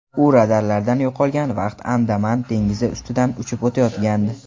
U radarlardan yo‘qolgan vaqt Andaman dengizi ustidan uchib o‘tayotgandi.